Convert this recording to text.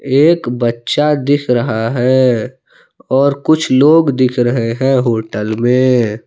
एक बच्चा दिख रहा है और कुछ लोग दिख रहे है होटल में।